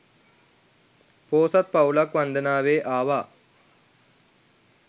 පෝසත් පවුලක් වන්දනාවේ ආවා